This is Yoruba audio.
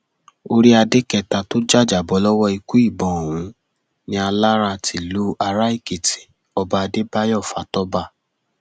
orí adé kẹta tó jàjàbọ lọwọ ikú ìbọn ọhún ni alára tílu araèkìtì ọba adébáyò fatọba